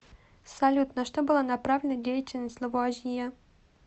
салют на что была направленна деятельность лавуазье